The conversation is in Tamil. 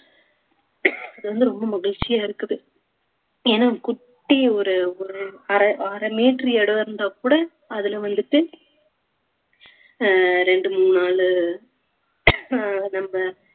அது வந்து ரொம்ப மகிழ்ச்சியா இருக்குது ஏன்னா குட்டி ஒரு ஒரு அரை~ அரை meter இடம் இருந்தாக் கூட அதிலே வந்துட்டு அஹ் ரெண்டு மூணு நாளு அஹ் நம்ம